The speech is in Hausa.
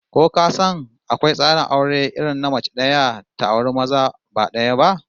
Ko ka san akwai tsarin aure irin na mace daya ta auri maza ba daya ba?